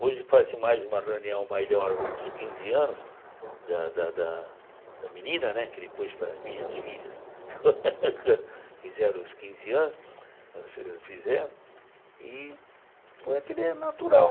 Hoje faz-se mais uma reunião nos quinze anos da da da menina né, que depois para as minhas filhas quando fizeram os quinze anos, nós fizemos, e foi aquele natural.